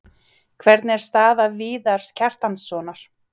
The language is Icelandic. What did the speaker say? Hvernig er staða Viðars Kjartanssonar?